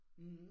Mh